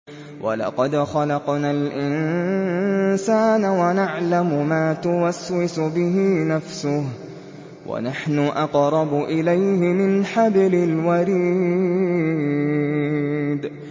وَلَقَدْ خَلَقْنَا الْإِنسَانَ وَنَعْلَمُ مَا تُوَسْوِسُ بِهِ نَفْسُهُ ۖ وَنَحْنُ أَقْرَبُ إِلَيْهِ مِنْ حَبْلِ الْوَرِيدِ